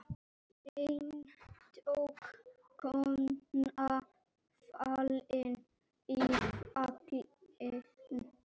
Aðför getur átt við